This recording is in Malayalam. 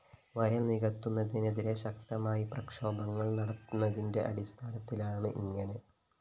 വയല്‍ നികത്തുന്നതിനെതിരെ ശക്തമായി പ്രക്ഷോഭങള്‍ നടന്നതിന്റെ അടിസ്ത്ഥാനത്തിലാണ് ഇങ്ങനെ